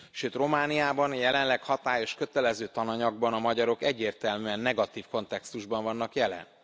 Sőt, Romániában a jelenleg hatályos kötelező tananyagban a magyarok egyértelműen negatív kontextusban vannak jelen.